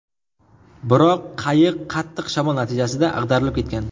Biroq qayiq qattiq shamol natijasida ag‘darilib ketgan.